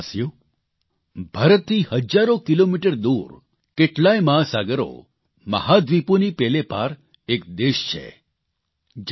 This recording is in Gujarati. મારા વ્હાલા દેશવાસીઓ ભારતથી હજારો કિલોમીટર દૂર કેટલાય મહાસાગરો મહાદ્વીપોની પેલે પાર એક દેશ છે